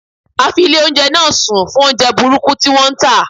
A fi ilé oúnjẹ náà sùn fún oúnjẹ burúkú tí wón ń tà.